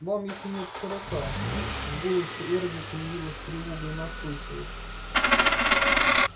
вам ещё нет сорока в голосе эрби появилась тревога и настойчивость